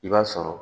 I b'a sɔrɔ